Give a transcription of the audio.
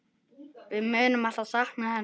Við munum alltaf sakna hennar.